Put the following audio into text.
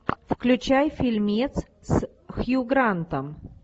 включай фильмец с хью грантом